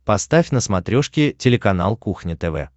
поставь на смотрешке телеканал кухня тв